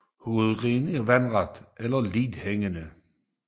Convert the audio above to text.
Hovedgrenene er vandrette eller lidt hængende